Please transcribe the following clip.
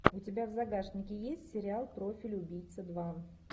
у тебя в загашнике есть сериал профиль убийцы два